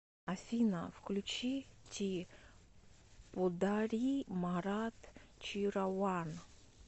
афина включи ти подари марат чирауан